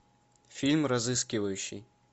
фильм разыскивающий